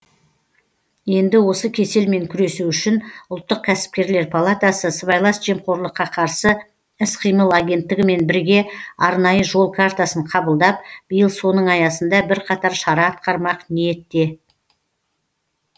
енді осы кеселмен күресу үшін ұлттық кәсіпкерлер палатасы сыбайлас жемқорлыққа қарсы іс қимыл агенттігімен бірге арнайы жол картасын қабылдап биыл соның аясында бірқатар шара атқармақ ниетте